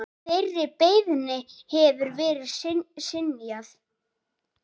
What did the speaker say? Þeirri beiðni hefur verið synjað.